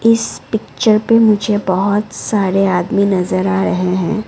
इस पिक्चर पे मुझे बहुत सारे आदमी नजर आ रहे हैं।